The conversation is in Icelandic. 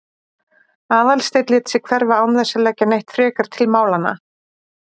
Aðalsteinn lét sig hverfa án þess að leggja neitt frekar til málanna.